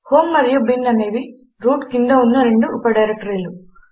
home మరియు bin అనేవి root కింద ఉన్న రెండు ఉప డైరెక్టరీలు